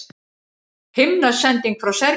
Himnasending frá Serbíu